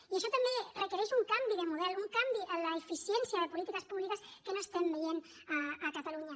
i això també requereix un canvi de model un canvi en l’eficiència de polítiques públiques que no estem veient a catalunya